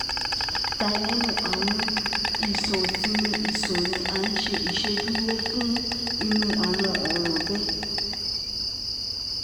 Tylenol, awọn iṣan isinmi iṣan ni a ṣe iṣeduro fun iru awọn ọran bẹẹ